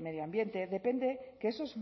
medio ambiente depende que esos